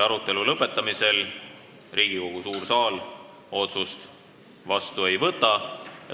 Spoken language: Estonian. Arutelu lõpetamisel Riigikogu suur saal otsust vastu ei võta.